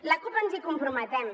la cup ens hi comprometem